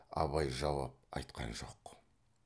абай жауап айтқан жоқ